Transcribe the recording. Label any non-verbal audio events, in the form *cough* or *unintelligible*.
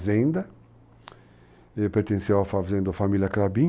*unintelligible* pertencia à família Clabin.